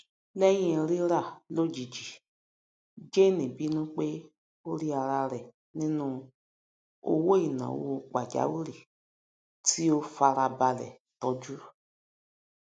lẹyìn rírà lojiji jane bínú pé ó rí ara rẹ nínú owóináwó pàjáwìrì tí ó fara balẹ tọju